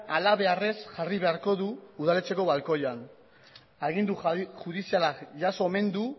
halabeharrez jarri beharko du udaletxeko balkoian agindu judiziala jaso omen du